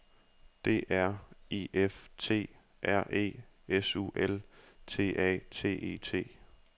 D R I F T R E S U L T A T E T